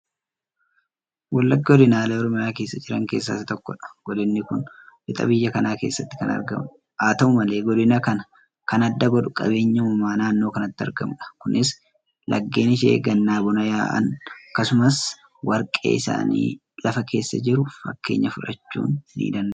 Wallaggi godinaalee Oromiyaa keessa jiran keessaa isa tokkodha. Godinni kun lixa biyya kanaa keessatti kan argamudha. Haata'u malee godina kana kan adda godhu qabeenya uumamaa naannoo kanatti argamudha. Kunis laggeen ishee gannaa bona yaa'an, akkasumas wargee isaanii lafa keessa jiru. Fakkeenya fudhachuun nidanda'ama.